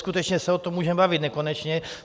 Skutečně se o tom můžeme bavit nekonečně.